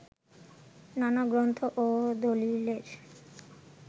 নানা গ্রন্থ ও দলিলের